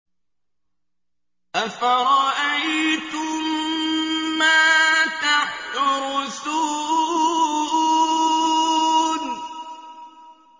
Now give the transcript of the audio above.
أَفَرَأَيْتُم مَّا تَحْرُثُونَ